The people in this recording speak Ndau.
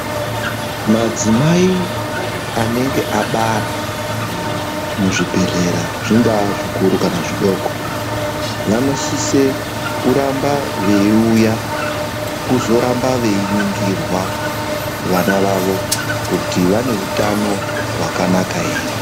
Madzimai anenge abara muzvibhedhlera zvingaa zvikuru kana zvidoko vanosise kuramba veiuya kuzoramba veiningirwa vana vavo kuti vane utano hwakanaka here.